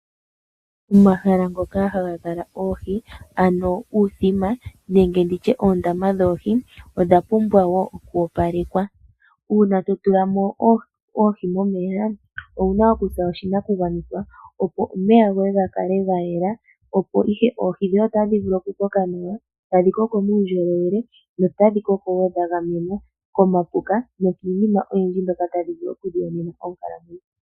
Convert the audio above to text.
Omahala ngoka hagakala oohi ano nditye uuthima nenge nditye oondama dhoohi odhapumbwa woo okwoopalekwa. Uuna totulamo oohi momeya owuna okukutha oshinakugwanithwa, opo omeya goye gakale gayela opo ihe oohi dhoye otadhi vulu okukoka nawa. Tadhikoko muundjolowele notadhikoko woo dhagamenwa komapuka, nokiinima oyindji mbyoka tadhivulu okuyiyonena onkalamwenyo.